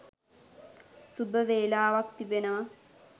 සුබ වේලාවක් තිබෙනවා.